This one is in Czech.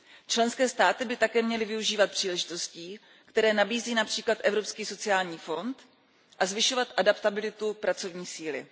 Členské státy by také měly využívat příležitostí, které nabízí například Evropský sociální fond, a zvyšovat adaptabilitu pracovní síly.